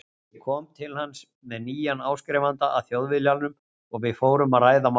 Ég kom til hans með nýjan áskrifanda að Þjóðviljanum og við fórum að ræða málin.